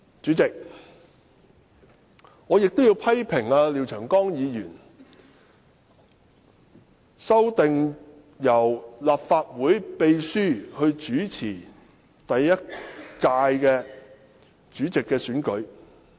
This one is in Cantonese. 主席，我亦要批評廖長江議員的修訂，建議由立法會秘書主持換屆後的主席選舉。